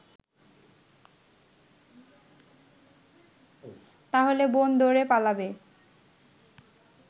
তাহলে বোন দৌড়ে পালাবে